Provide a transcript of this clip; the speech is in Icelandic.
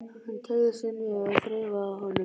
Hann teygði sig niður og þreifaði á honum.